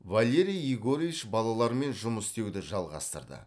валерий егорович балалармен жұмыс істеуді жалғастырды